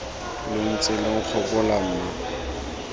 lo ntse lo nkgopola mma